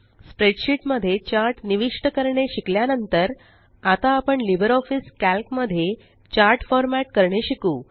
spreadsheet मध्ये chart निविष्ट करणे शिकल्या नंतर आता आपण लिबरऑफिस कॅल्क मध्ये चार्ट फ़ॉर्मेट करणे शिकू